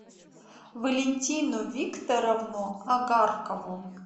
валентину викторовну агаркову